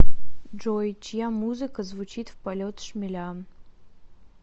джой чья музыка звучит в полет шмеля